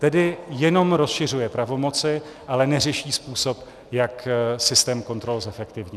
Tedy jenom rozšiřují pravomoci, ale neřeší způsob, jak systém kontrol zefektivnit.